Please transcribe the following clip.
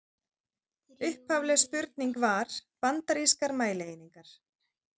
Upphafleg spurning var: Bandarískar mælieiningar.